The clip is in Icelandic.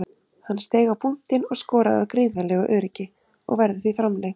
Hann steig á punktinn og skoraði af gríðarlegu öryggi og verður því framlengt.